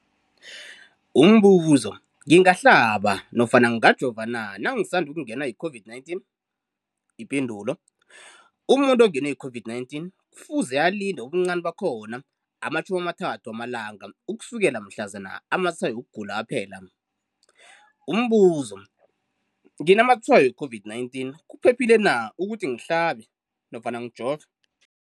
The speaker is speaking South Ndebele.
Umbuzo, ngingahlaba nofana ngingajova na nangisandu kungenwa yi-COVID-19? Umuntu ongenwe yi-COVID-19 kufuze alinde ubuncani bakhona ama-30 wama langa ukusukela mhlazana amatshayo wokugula aphela. Umbuzo, nginamatshayo we-COVID-19, kuphephile na ukuthi ngihlabe nofana ngijove?